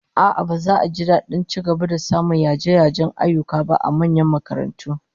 A'a, baza a ji dadin ci gaba da samun yaje-yajen ayyuka ba a manyan makarantu